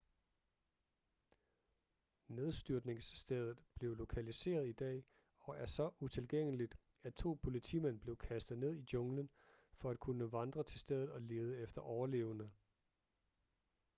nedstyrtningsstedet blev lokaliseret i dag og er så utilgængeligt at to politimænd blev kastet ned i junglen for at kunne vandre til stedet og lede efter overlevende